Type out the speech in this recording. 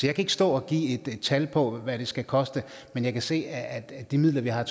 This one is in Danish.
kan ikke stå og give et tal på hvad det skal koste men jeg kan se at at de midler vi har